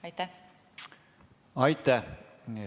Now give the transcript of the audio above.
Aitäh!